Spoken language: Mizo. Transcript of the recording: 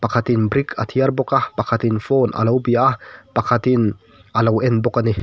pakhatin brick a thiar bawk a pakhatin phone a lo bia a pakhatin alo en bawk a ni.